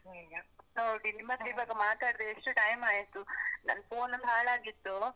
ನಿಜ, ನೋಡಿ ನಿಮ್ಮ್ ಹತ್ರ ಈವಾಗ ಮಾತಾಡ್ದೆ ಎಷ್ಟು ಆಯ್ತು, ನನ್ನ್ phone ಒಂದ್ ಹಾಳಾಗಿತ್ತು.